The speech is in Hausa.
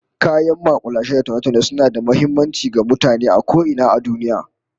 Kayan makulashe da taune-taune suna da muhimmanci ga mutane a ko ina a duniya